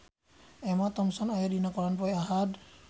Emma Thompson aya dina koran poe Ahad